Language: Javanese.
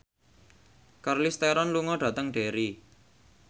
Charlize Theron lunga dhateng Derry